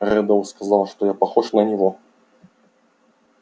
реддл сказал что я похож на него